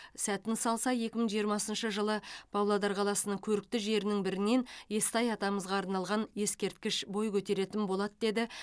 сәтін салса екі мың жиырмасыншы жылы павлодар қаласының көрікті жерінің бірінен естай атамызға арналған ескерткіш бой көтеретін болады деді